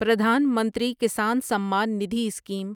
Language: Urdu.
پردھان منتری کسان سمان ندھی اسکیم